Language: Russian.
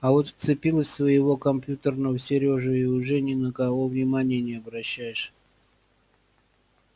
а вот вцепилась в своего компьютерного серёжу и уже ни на кого внимания не обращаешь